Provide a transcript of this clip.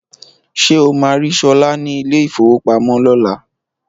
Ṣé o máa rí Sọlá ní ilé ìfówopamọ́ lọ́la?